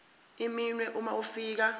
iminwe uma ufika